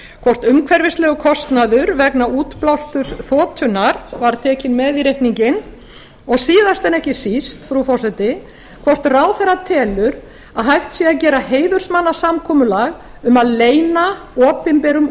hvort umhverfislegur kostnaður vegna útblásturs þotunnar var tekinn með í reikninginn og síðast en ekki síst frú forseti hvort ráðherra telur að hægt sé að gera heiðursmannasamkomulag um að leyna opinberum